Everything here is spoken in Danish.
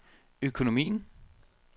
økonomien